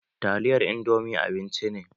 Taliyar indomi abinci ne